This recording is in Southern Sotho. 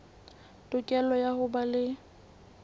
tokelo ya ho ba le